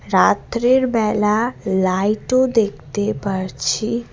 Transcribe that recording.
রাত্রের বেলা লাইটও দেখতে পারছি।